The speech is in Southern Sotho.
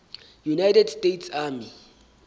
united states army